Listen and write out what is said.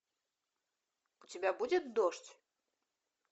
у тебя будет дождь